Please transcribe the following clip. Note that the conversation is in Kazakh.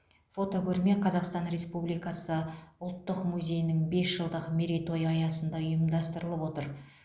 фотокөрме қазақстан республикасы ұлттық музейінің бес жылдық мерейтойы аясында ұйымдастырылып отыр